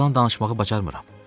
Yalan danışmağı bacarmıram.